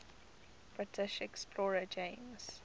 british explorer james